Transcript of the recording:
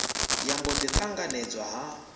ya mbo ḓi ṱanganedzwa ha